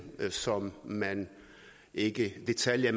som man ikke i detaljer